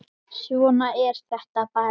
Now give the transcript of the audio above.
Svona er þetta bara.